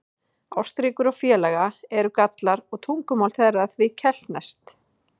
Ástríkur og félaga eru Gallar og tungumál þeirra því keltneskt.